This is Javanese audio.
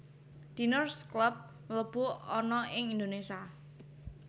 Diners Club mlebu ana ing Indonesia